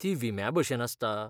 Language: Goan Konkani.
ती विम्या भशेन आसता?